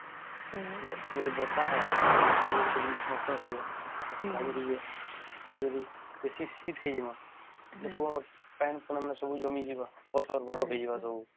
ଯଦି ବର୍ଷା ହବ ଯଦି ସବୁ ନଷ୍ଟ ହେଇଯିବ ଆଉ ଖରା ଯୋଗୁ ବି ଆଉ ଯଦି ବେଶୀ ଶୀତ ହେଇଯିବ ତା ସବୁ ପାଣି ପୁନ ସବୁ ଜମିଜିବା ପଥର ବରଫ ହେଇଯିବ